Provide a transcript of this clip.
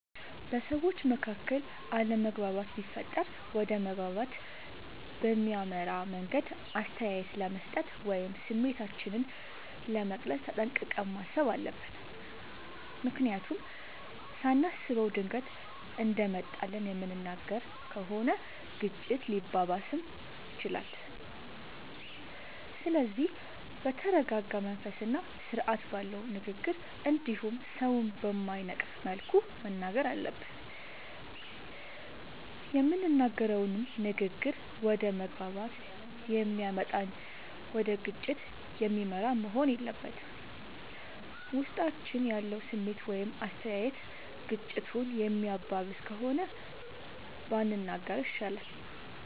በሠዎች መካከል አለመግባባት ቢፈጠር ወደ መግባባት በሚያመራ መንገድ አስተያየት ለመስጠት ወይም ስሜታችንን ለመግለፅ ተጠንቅቀን ማሠብ አለብ። ምክንያቱም ሳናስበው ድንገት እንደመጣልን የምንናገር ከሆነ ግጭቱ ሊባባስም ይችላል። ስለዚህ በተረረጋ መንፈስና ስርአት ባለው ንግግር እንዲሁም ሠውን በማይነቅፍ መልኩ መናገር አለብን። የምንናገረውም ንግግር ወደ መግባባት የሚያመጣ እንጂ ወደ ግጭት የሚመራ መሆን የለበትም። ውስጣችን ያለው ስሜት ወይም አስተያየት ግጭቱን የሚያባብስ ከሆነ ባንናገረው ይሻላል።